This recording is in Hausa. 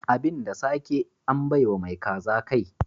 Abin da sake, an bai wa mai kaza kai.